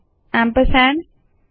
ampersand